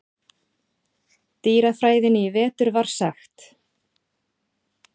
dýrafræðinni í vetur var sagt.